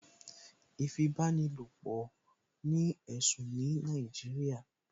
Ìfipábánilopọ̀ jẹ́ ẹ̀sùn ní Nàìjíríà